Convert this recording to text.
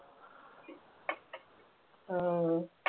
ആ